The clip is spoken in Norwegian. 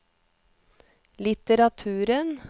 litteraturen